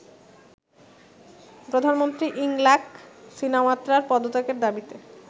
প্রধানমন্ত্রী ইংলাক সিনাওয়াত্রার পদত্যাগের দাবিতে